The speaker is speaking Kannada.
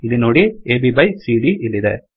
ಇಲ್ಲಿನೋಡಿ ಅಬ್ byಬೈ ಸಿಡಿಯ ಇಲ್ಲಿದೆ